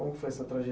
Como foi essa